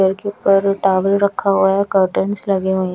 के ऊपर टॉवेल रखा हुवा हैं कर्टन्स लगे हुए--